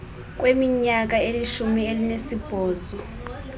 kweminyaka elishumi elinesibhozo